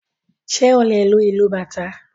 Ṣé o lè lu ìlù Bàtá?